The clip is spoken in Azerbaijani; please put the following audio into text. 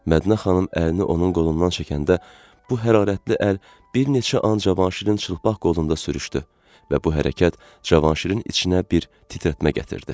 Mədinə xanım əlini onun qolundan çəkəndə bu hərarətli əl bir neçə an Cavanşirin çılpaq qolunda sürüşdü və bu hərəkət Cavanşirin içinə bir titrətmə gətirdi.